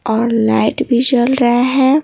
और लाइट भी चल रहा है।